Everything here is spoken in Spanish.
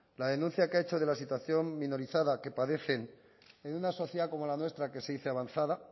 la denuncia que ha hecho de la situación minorizada que padecen en una sociedad como la nuestra que se dice avanzada